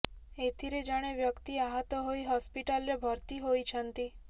ଏଥିରେ ଜଣେ ବ୍ୟକ୍ତି ଆହତ ହୋଇ ହସ୍ପିଟାଲରେ ଭର୍ତ୍ତି ହୋଇଛନ୍ତି